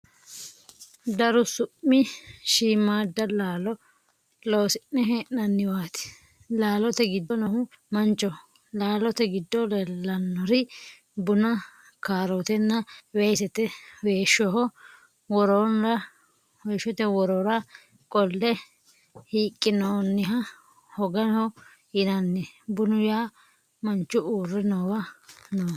Daru su'mi shiimaada laalo loosi'ne hee'nanniwaati. Laalote giddo noohu manchoho. laalote giddo leellannori buna, kaarootenna weesete. weeshshoho worora qolle hiiqqinoonniha hogaho yinanni. bunu yaa manchu uurre noowa nooho.